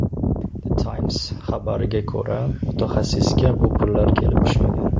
The Times xabariga ko‘ra , mutaxassisga bu pullar kelib tushmagan.